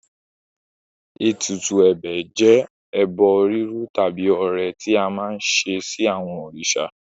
Ètùtù ẹ̀bẹ̀ jẹ́ àwọn ẹbọ rírú tàbí ọrẹ tí a máa ń ṣe sí àwọn òrìṣà.